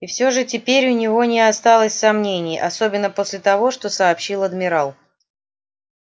и все же теперь у него не осталось сомнений особенно после того что сообщил адмирал